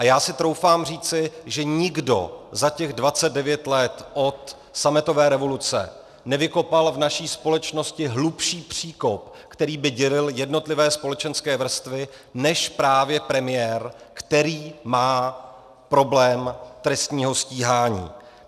A já si troufám říci, že nikdo za těch 29 let od sametové revoluce nevykopal v naší společnosti hlubší příkop, který by dělil jednotlivé společenské vrstvy, než právě premiér, který má problém trestního stíhání.